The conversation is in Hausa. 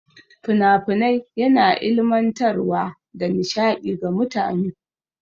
Fina-finai yana ilimantar wa da nishaɗi ga mutane.